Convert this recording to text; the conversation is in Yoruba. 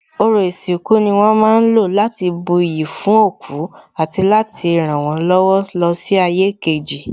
Ọrọ̀ ìsìnkú ni wón ma ń lò láti buyì fún òkú àti láti rànwọ́n lọ́wọ́ lọ sí ayé kejì